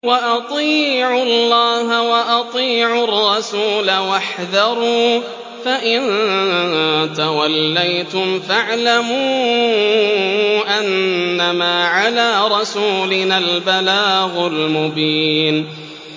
وَأَطِيعُوا اللَّهَ وَأَطِيعُوا الرَّسُولَ وَاحْذَرُوا ۚ فَإِن تَوَلَّيْتُمْ فَاعْلَمُوا أَنَّمَا عَلَىٰ رَسُولِنَا الْبَلَاغُ الْمُبِينُ